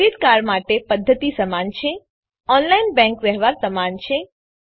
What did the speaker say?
credit card માટે પદ્ધતિ સમાન છે ઓનલાઈન બેંક વ્યવહાર સમાન છે